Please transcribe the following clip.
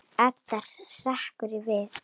Edda hrekkur við.